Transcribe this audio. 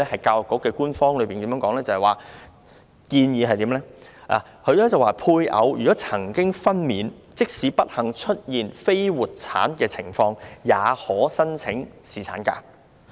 教育局的官方建議是，如果配偶曾經分娩，即使不幸出現非活產的情況，學校員工也可申請侍產假。